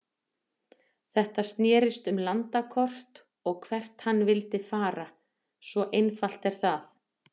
Þetta snérist um landakort og hvert hann vildi fara, svo einfalt er það.